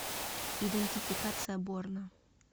идентификация борна